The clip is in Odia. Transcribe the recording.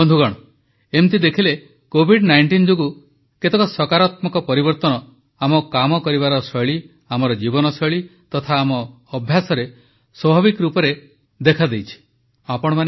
ବନ୍ଧୁଗଣ ଏମିତି ଦେଖିଲେ କୋଭିଡ19 ଯୋଗୁଁ କେତେକ ସକାରାତ୍ମକ ପରିବର୍ତ୍ତନ ଆମ କାମ କରିବାର ଶୈଳୀ ଆମ ଜୀବନଶୈଳୀ ତଥା ଆମ ଅଭ୍ୟାସରେ ସ୍ୱାଭାବିକ ରୂପେ କେତେକ ସକାରାତ୍ମକ ପରିବର୍ତ୍ତନ ଆଣିଛି